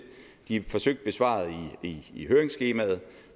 de er forsøgt besvaret i høringsskemaet